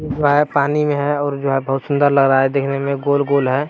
Wire पानी में है और जो है बहुत सुन्दर लग रहा है देखने में गोल-गोल है।